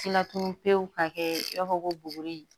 Laturu pewu ka kɛ i b'a fɔ ko bugun